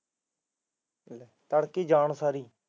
ਤੜਕੇ ਜਾਣ ਸਾਰ ਹੀ